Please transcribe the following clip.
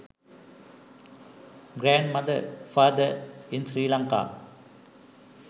grand mother father in sri lanka